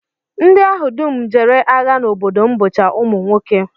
Ndị ahụ dum jere agha n'obodo m bụcha ụmụ nwoke